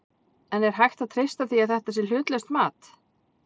En er hægt að treysta því að þetta sé hlutlaust mat?